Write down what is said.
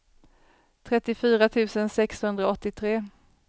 trettiofyra tusen sexhundraåttiotre